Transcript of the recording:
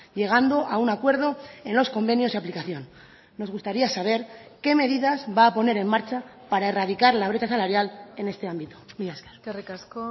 llegando a un acuerdo en los convenios de aplicación nos gustaría saber qué medidas va a poner en marcha para erradicar la brecha salarial en este ámbito mila esker eskerrik asko